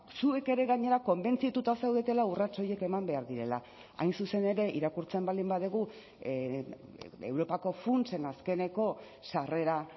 zuek ere gainera konbentzituta zaudetela urrats horiek eman behar direla hain zuzen ere irakurtzen baldin badugu europako funtsen azkeneko sarrera